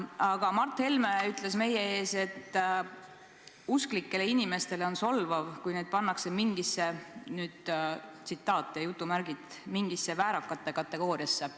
Aga Mart Helme ütles meie ees, et usklikele inimestele on solvav, kui neid pannakse "mingisse väärakate kategooriasse".